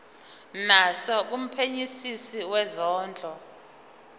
naso kumphenyisisi wezondlo